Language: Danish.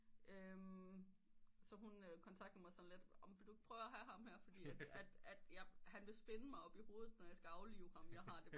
Så hun kontaktede mig sådan lidt om vil du ikke prøve at have ham her fordi at han vil spinde mig op i hovede når jeg skal aflive ham jeghar det bare